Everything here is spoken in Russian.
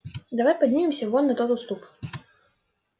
давай поднимемся вон на тот уступ